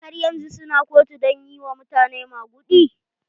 Har yanzun su na kotu don yi wa mutane maguɗi?